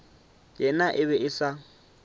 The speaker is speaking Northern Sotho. yena e be e sa